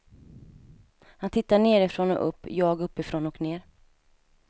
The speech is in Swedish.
Han tittar nerifrån och upp, jag uppifrån och ner.